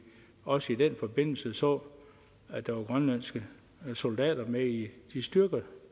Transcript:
også i den forbindelse så at der var grønlandske soldater med i de styrker